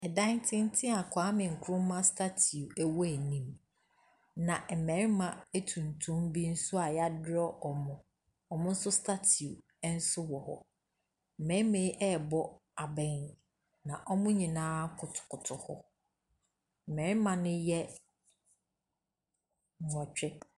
Ɔsan tenten a Kwame Nkrumah statiu ɛwɔ anim. Na mmarima etuntum bi nso a y'adrɔɔ ɔmo. Ɔmo nso statiu ɛwɔ hɔ. Mmɛma yi ɛbɔ abɛn. Na ɔmo nyinaa kotokoto hɔ. Mmɛma ne yɛ nwɔtwe.